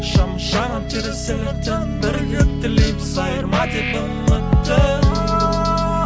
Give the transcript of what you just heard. шам жанып терезелерден бірігіп тілейміз айырма деп үмітті